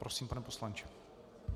Prosím, pane poslanče.